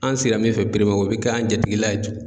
An sira min fɛ o bɛ kɛ an jatiigila ye.